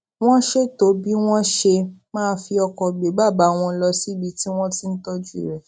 wón ṣètò bí wón ṣe máa fi ọkò gbé bàbá wọn lọ síbi tí wón ti ń tójú rè